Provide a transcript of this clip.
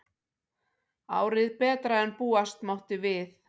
Árið betra en búast mátti við